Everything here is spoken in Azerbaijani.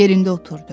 Yerində oturdu.